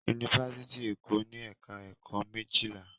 Yunifásítì Èkó ní ẹ̀ka-ẹ̀kọ́ méjìlá.